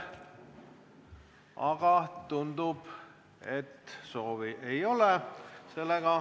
Aga tundub, et soovi ei ole.